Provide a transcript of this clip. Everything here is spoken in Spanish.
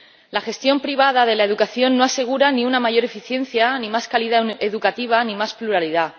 La gestión privada de la educación no asegura ni una mayor eficiencia ni más calidad educativa ni más pluralidad.